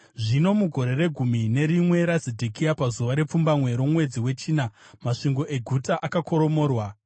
Zvino mugore regumi nerimwe raZedhekia, pazuva repfumbamwe romwedzi wechina, masvingo eguta akakoromorwa.